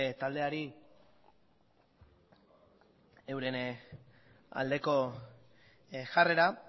taldeari euren aldeko jarrera